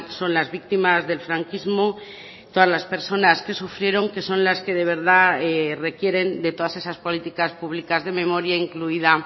son las víctimas del franquismo todas las personas que sufrieron que son las que de verdad requieren de todas esas políticas públicas de memoria incluida